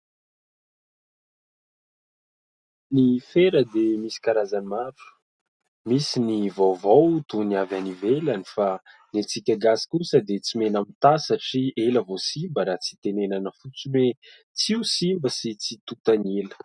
Ny fera dia misy karazany maro misy ny vaovao toy ny avy any ivelany fa ny antsika Malagasy kosa dia tsy mihena mitahy satria ela vao simba raha tsy tenenina fotsiny hoe tsy ho simba ary tsy tontan'ny ela.